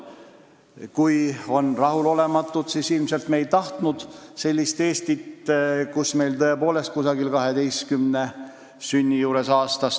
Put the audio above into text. Kui on rahulolematuid, siis ilmselt me ei tahtnud sellist Eestit, kus meil on tõepoolest umbes 12 000 sündi aastas.